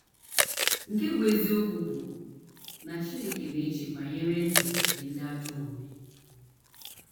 Nke bụ́ eziokwu bụ na Chineke na - eche banyere ndụ nke ndị ajọ omume.